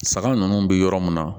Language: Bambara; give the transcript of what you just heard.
Saga ninnu bɛ yɔrɔ mun na